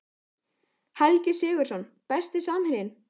Helgi Sigurðsson Besti samherjinn?